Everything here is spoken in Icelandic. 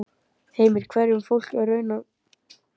Heimir, hverju er fólk í raun að mótmæla?